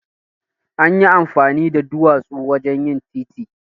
Anyi amfani da duwatsu wajen yin titi.